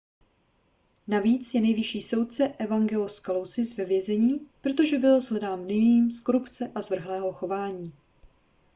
navíc je nejvyšší soudce evangelos kalousis ve vězení protože byl shledán vinným z korupce a zvrhlého chování